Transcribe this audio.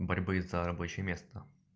борьбы за рабочее место